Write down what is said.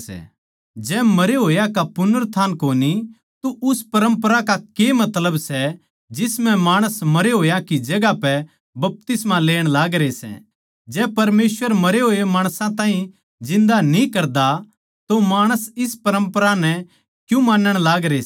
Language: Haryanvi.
जै मरे होया का पुनरुत्थान कोनी तो उस परम्परा का के मतलब सै जिस म्ह माणस मरे होया की जगहां पै बपतिस्मा लेण लागरे सै जै परमेसवर मरे होए माणस ताहीं जिन्दा न्ही करदा तो माणस इस परम्परा नै क्यूँ मानण लागरे सै